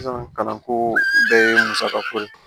Sisan kalanko bɛɛ ye musakako ye